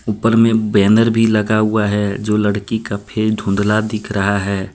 ऊपर में बैनर भी लगा हुआ है जो लड़की का फेस धुंधला दिख रहा है।